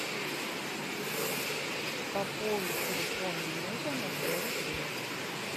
пополни телефон мужа на сто рублей